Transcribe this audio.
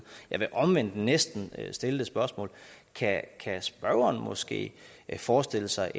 jeg vil omvendt næsten stille det spørgsmål kan spørgeren måske forestille sig